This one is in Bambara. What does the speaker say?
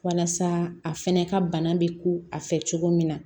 Walasa a fɛnɛ ka bana be ko a fɛ cogo min na